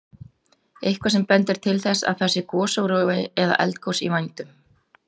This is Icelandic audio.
Jóhann: Eitthvað sem bendir til þess að það sé gosórói eða eldgos í vændum?